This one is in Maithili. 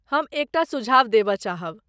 हम एकटा सुझाव देबय चाहब।